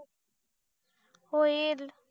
होईल